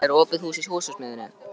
Elmar, er opið í Húsasmiðjunni?